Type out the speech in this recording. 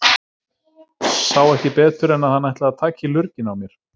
Sá ekki betur en að hann ætlaði að taka í lurginn á mér.